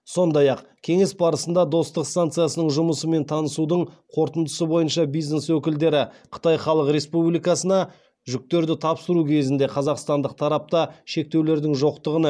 сондай ақ кеңес барысында достық станциясының жұмысымен танысудың қорытындысы бойынша бизнес өкілдері қытай халық республикасына жүктерді тапсыру кезінде қазақстандық тарапта шектеулердің жоқтығына